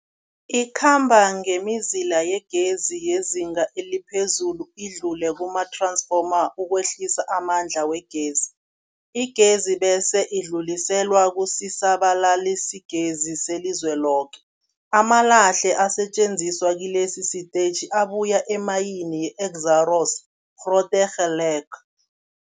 Ikhamba ngemizila yegezi yezinga eliphezulu idlule kumath-ransfoma ukwehlisa amandla wegezi. Igezi bese idluliselwa kusisa-balalisigezi selizweloke. Amalahle asetjenziswa kilesi sitetjhi abuya emayini yeExxaro's Grootegeluk.